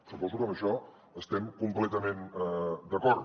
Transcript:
suposo que en això estem completament d’acord